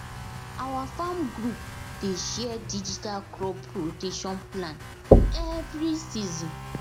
our farm group dey share digital crop rotation plan every season